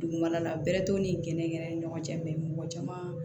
Dugumana la bɛrɛ t'o ni gɛnnɛn yɛrɛ ni ɲɔgɔn cɛ mɛ mɔgɔ caman